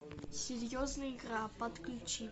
серьезная игра подключи